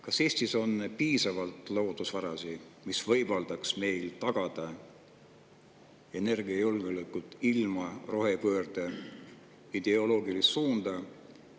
Kas Eestis on piisavalt loodusvarasid, mis võimaldaks meil tagada energiajulgeoleku ilma rohepöörde ideoloogilise suunata?